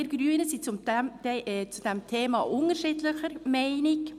Wir Grünen hingegen sind zu diesem Thema unterschiedlicher Meinung.